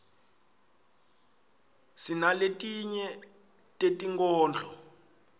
sinaletinye tetinkhondlo